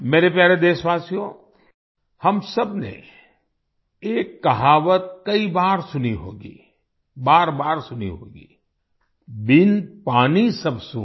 मेरे प्यारे देशवासियो हम सबने एक कहावत कई बार सुनी होगी बारबार सुनी होगी बिन पानी सब सून